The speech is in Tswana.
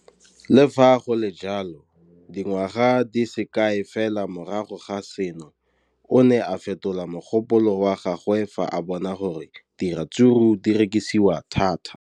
Le fa go le jalo, dingwaga di se kae fela morago ga seno, o ne a fetola mogopolo wa gagwe fa a bona gore diratsuru di rekisiwa thata.